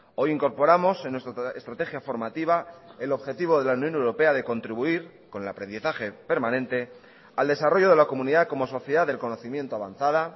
hoy incorporamos en nuestra estrategia formativa el objetivo de la unión europea de contribuir con el aprendizaje permanente al desarrollo de la comunidad como sociedad del conocimiento avanzada